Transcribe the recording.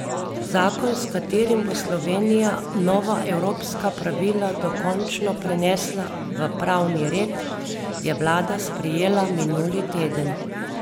Zakon, s katerim bo Slovenija nova evropska pravila dokončno prenesla v pravni red, je vlada sprejela minuli teden.